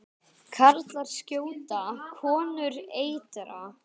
Karlar skjóta, konur eitra.